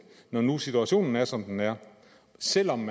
når nu situationen er som den er selv om